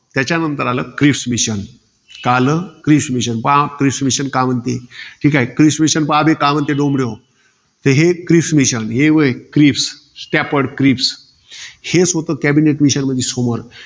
त्याच्यानंतर आलं, Cripps mission का आलं? Cripps mission. पहा क्रिस mission का म्हणते? क्रिस mission का म्हणते पहा बे डोम्ब्रेहो. हे क्रिस mission. हे व्हय क्रिस, staperd crips. हेच होतं cabinate mission मधी समोर.